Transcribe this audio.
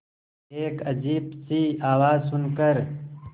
एक अजीब सी आवाज़ सुन कर